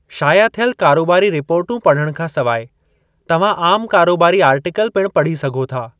शाया थियल कारोबारी रिपोर्टूं पढ़णु खां सवाइ, तव्हां आम कारोबारी आर्टिकल पिणु पढ़ी सघो था।